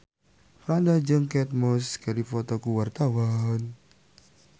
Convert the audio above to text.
Franda jeung Kate Moss keur dipoto ku wartawan